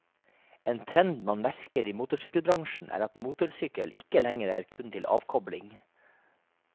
En trend man merker i motorsykkelbransjen er at motorsykkel ikke lenger er kun til avkobling.